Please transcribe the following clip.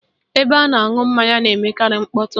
Ebe a na-aṅụ mmanya na-emekarị mkpọtụ